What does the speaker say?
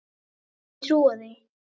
Þú mundir ekki trúa því.